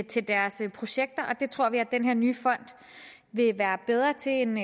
til deres projekter og det tror vi at denne nye fond vil være bedre til end